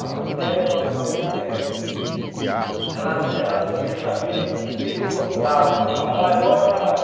A mãe dela, para para ter ideia, ela ela queria saber o que que eu gostava, assim, eu falava, ah, eu gosto de camarão.